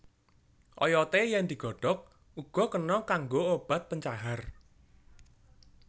Oyote yen digodhog uga kena kanggo obat pencahar